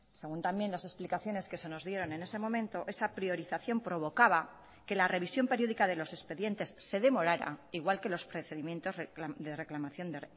según también las explicaciones que se nos dieron en ese momento esa priorización provocaba que la revisión periódica de los expedientes se demorara igual que los procedimientos de reclamación de